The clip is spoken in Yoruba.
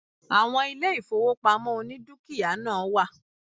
Àwon ilé ìfowópamọ́ oní dúkìá náà wà